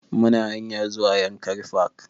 Muna hanyar zuwa yankari park